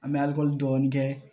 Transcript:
An bɛ alikɔli dɔɔni kɛ